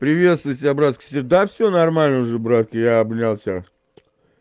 приветствую тебя братка да всё нормально уже братка я обнял тебя